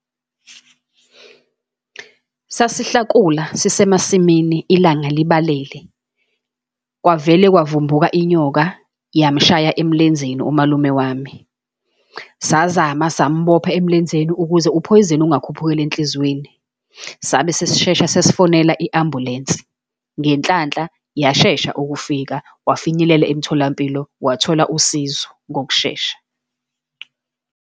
Sasihlakula, sisemasimini, ilanga libalele. Kwavele kwavumbuka inyoka yamshaya emlenzeni umalume wami. Sazama simbopha emlenzeni, ukuze uphoyizeni ungakhuphukeli enhliziyweni. Sabe sesishesha sesifonela i-ambulensi, ngenhlanhla yashesha ukufika, wafinyelela emtholampilo, wathola usizo ngokushesha.